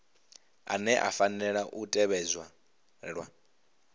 ane a fanela u tevhedzelwa